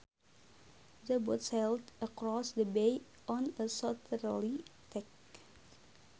The boat sailed across the bay on a southerly tack